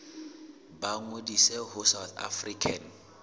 ba ngodise ho south african